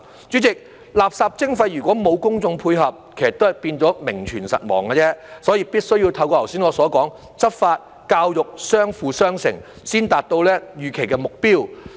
主席，垃圾徵費如果沒有公眾配合，其實都是變成名存實亡而已，所以必須要透過我剛才所說的執法、教育相輔相成，才能達到預期的目標。